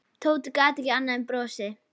Tóti gat ekki annað en brosað.